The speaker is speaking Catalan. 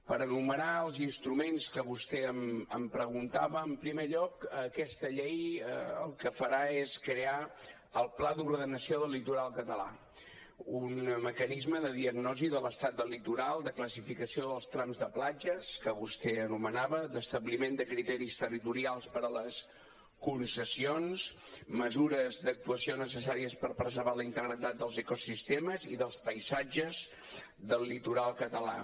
per enumerar els instruments que vostè em preguntava en primer lloc aquesta llei el que farà és crear el pla d’ordenació del litoral català un mecanisme de diagnosi de l’estat del litoral de classificació dels trams de platges que vostè anomenava de l’establiment de criteris territorials per a les concessions mesures d’actuació necessàries per preservar la integritat dels ecosistemes i dels paisatges del litoral català